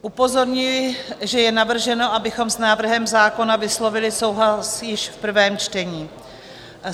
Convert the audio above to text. Upozorňuji, že je navrženo, abychom s návrhem zákona vyslovili souhlas již v prvém čtení.